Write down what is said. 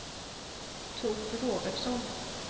Tord Robertsson